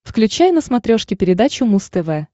включай на смотрешке передачу муз тв